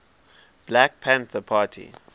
black panther party